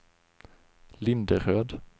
Linderöd